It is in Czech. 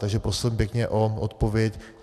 Takže prosím pěkně o odpověď.